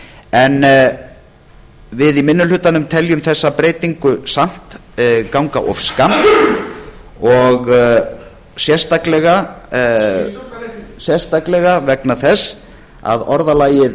á þessu við í minni hlutanum teljum þessa breytingu samt ganga of skammt og sérstaklega vegna þess að orðalagið